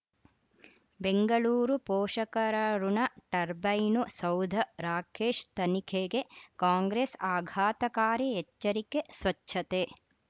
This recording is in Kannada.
ಬೆಂಗಳೂರು ಪೋಷಕರಋಣ ಟರ್ಬೈನು ಸೌಧ ರಾಕೇಶ್ ತನಿಖೆಗೆ ಕಾಂಗ್ರೆಸ್ ಆಘಾತಕಾರಿ ಎಚ್ಚರಿಕೆ ಸ್ವಚ್ಛತೆ